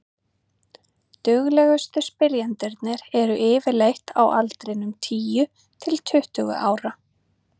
duglegustu spyrjendurnir eru yfirleitt á aldrinum tíu til tuttugu ára